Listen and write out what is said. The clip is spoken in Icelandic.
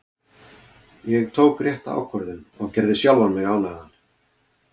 Ég tók rétta ákvörðun og gerði sjálfan mig ánægðan.